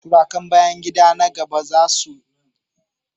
Tarukan bayan gida na gaba za su baje kolin ƴaƴan itatuwa iri-iri da aka gyara